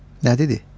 Nə dedi?